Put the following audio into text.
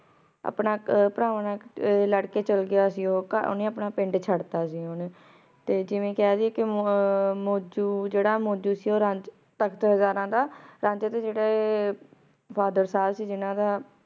ਆਪਣਾ ਪਰਵਾਨ ਨਾਲ ਲਾਰ ਕੇ ਚਲਾ ਗਯਾ ਸੀ ਓਨੇ ਆਪਣਾ ਪਿੰਡ ਚੜ ਤਾ ਸੀ ਤੇ ਜਿਵੇਂ ਕਹ ਲਿਯੇ ਕੀ ਮੋਜੋ ਜੇਰਾ ਮੋਜੋ ਸੀ ਊ ਰਾਝੇ ਤਖ਼ਤ ਹਜ਼ਾਰਾਂ ਦਾ ਰਾਂਝੇ ਦੇ ਜੇਰੇ father ਸਾਬ ਸੀ ਜਿਨਾਂ ਦਾ